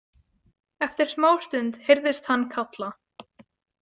Eftir smá stund heyrðist hann kalla.